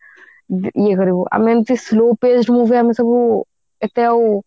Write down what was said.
ଇଏ କରିବୁ ଆମେ ହଉଛେ slow paste movie ଏତେ ଆଉ